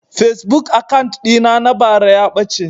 Fasebuk akant ɗin na na bara ya ɓace